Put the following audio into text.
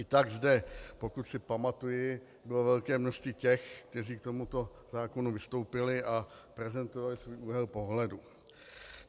I tak zde, pokud si pamatuji, bylo velké množství těch, kteří k tomuto zákonu vystoupili a prezentovali svůj úhel pohledu.